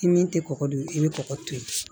I min tɛ kɔgɔ dun i bɛ kɔgɔ to yen